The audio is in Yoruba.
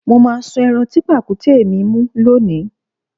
Mó máa sun ẹran tí pàkúté mi mú lónìí